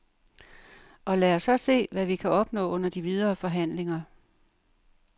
Og lad os så se, hvad vi kan opnå under de videre forhandlinger.